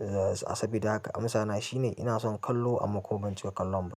A sa bida haka amsa na shine ina son kallo amma ko ban cika kallon ba.